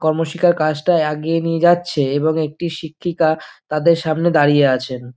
কর্ম শিক্ষআর কাজটা এগিয়ে নিয়ে যাচ্ছে এবং একটি শিক্ষিকা তাদের সামনে দাঁড়িয়ে আছেন।